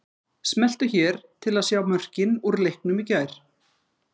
Smelltu hér til að sjá mörkin úr leiknum í gær